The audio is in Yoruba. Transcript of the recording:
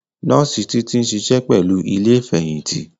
Nọọsi Títí ń ṣiṣẹ́ pẹ̀lú ilé Ìfẹ̀yìntì